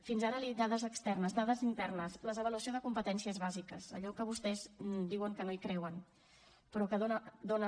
fins ara li he dit dades externes dades internes l’avaluació de competències bàsiques allò que vostès diuen que no hi creuen però que dona